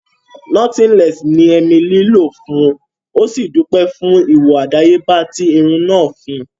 Nọ́tílẹ́ẹ́sì ní emilí lọ fún ó sì dúpẹ́ fún ìwòo àdáyébá tí irun náà fún un